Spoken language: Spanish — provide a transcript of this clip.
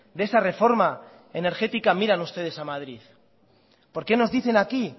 de esa reforma energética miran ustedes a madrid por qué nos dicen aquí